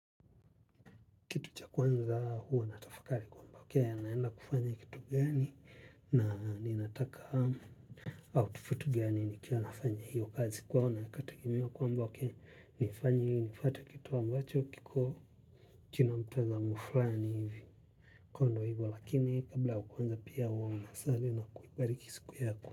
Kitu cha kwanza huo natafakali kwamba wakia ya naenda kufanya kitu gani na ninataka outfit gani ni kia nafanya hiyo kazi kwa huo na katakimia kwamba wakia nifanyi nifatwa kitu ambacho kiko kinamtazamuflani hivi kondo hivyo lakini kabla wakuanza pia huo unasali na kuipariki siku yako.